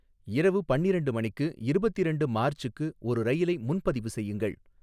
இரவு பன்னிரண்டு மணிக்கு இருபத்திரண்டு மார்ச்சுக்கு ஒரு ரயிலை முன்பதிவு செய்யுங்கள்.